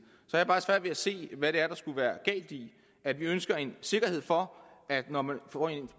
har ved at se hvad det er der skulle være galt i at vi ønsker en sikkerhed for at når man får